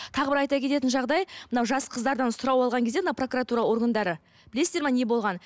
тағы бір айта кететін жағдай мынау жас қыздардан сұрау алған кезде мына прокуратура органдары білесіздер ме не болғанын